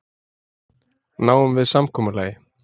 Náum við samkomulagi?